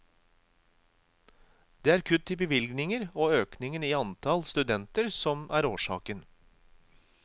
Det er kutt i bevilgninger og økningen i antall studenter som er årsaken.